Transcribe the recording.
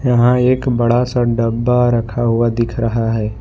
यहां एक बड़ा सा डब्बा रखा हुआ दिख रहा है।